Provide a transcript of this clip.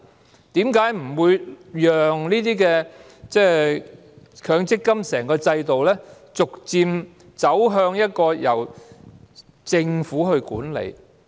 為何當局不讓整個強積金制度逐漸邁向由政府管理呢？